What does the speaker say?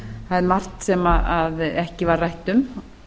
það er margt sem ekki var rætt um